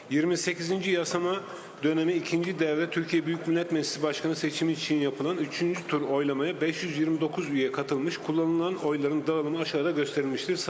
28-ci çağırışın ikinci dövrəsi Türkiyə Böyük Millət Məclisi Sədrinin seçimi üçün keçirilən üçüncü tur səsverməyə 529 üzv qatılmış, istifadə edilən səslərin bölgüsü aşağıda göstərilmişdir.